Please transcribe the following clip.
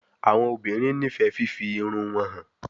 Awọn obinrin nifẹ fifi irun wọn han